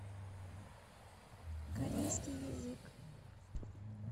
корейский язык